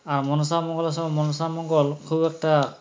আর মনসামঙ্গলের সময় মনসামঙ্গল খুব একটা